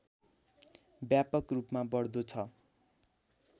व्यापक रूपमा बढ्दो छ